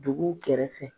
Dugu kɛrɛfɛ